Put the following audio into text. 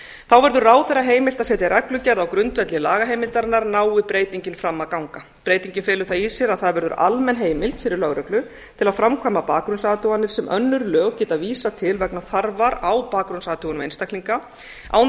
þá verður ráðherra heimilt að setja reglugerð á grundvelli lagaheimildarinnar nái breytingin fram að ganga breytingin felur það í sér að það verður almenn heimild fyrir lögreglu til að framkvæma bakgrunnsathuganir sem önnur lög geta vísað til vegna þarfar á bakgrunnsathugun einstaklinga án þess